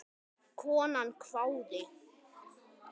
Konan hváði.